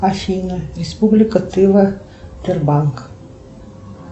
афина республика тыва тырбанк